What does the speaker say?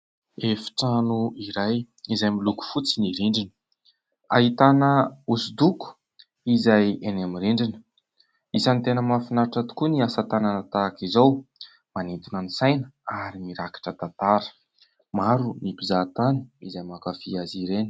Efitrano iray izay miloko fotsy ny rindrina. Ahitana hosodoko izay eny amin'ny rindrina. Isany tena mafinaritra tokoa ny asatanana tahaka izao , manintona ny saina ary mirakitra tantara. Maro ny mpizahatany izay mankafia azy ireny.